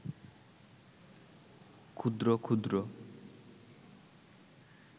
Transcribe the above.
ক্ষুদ্র ক্ষুদ্র